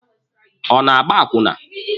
Ọ na-agba akwụna?